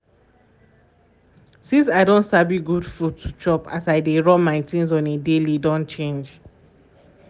since i don sabi good food to chop as i dey run my things on a daily don change